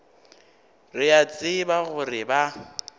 re a tseba gore ba